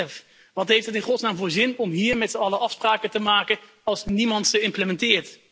2011. Wat heeft het in godsnaam voor zin om hier met zijn allen afspraken te maken als niemand ze uitvoert?